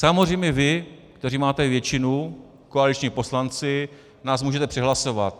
Samozřejmě vy, kteří máte většinu, koaliční poslanci, nás můžete přehlasovat.